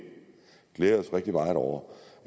glæde os rigtig meget over